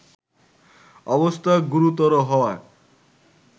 অবস্থা গুরুতর হওয়ায়